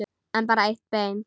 En bara eitt bein.